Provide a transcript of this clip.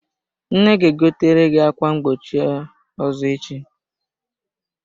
Nne ga-egotere gị ákwá mgbochi ọzọ echi.